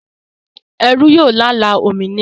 Ẹrú yóò lála òmìnira